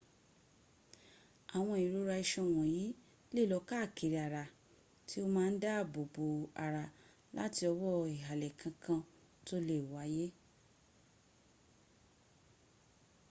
awon irora isan wonyi le lo kaakiri ara ti o ma n daabo bo ara lati owo ihale kankan to le waye